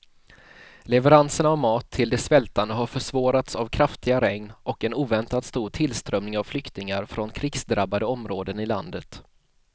Leveranserna av mat till de svältande har försvårats av kraftiga regn och en oväntat stor tillströmning av flyktingar från krigsdrabbade områden i landet.